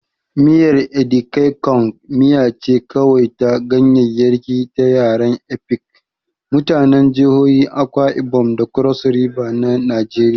Miyar Edikaikong miya ce kawai ta ganyaryaki ta yaren Efik, mutanen jihohin Akwa Ibom da Cross River na Najeriya.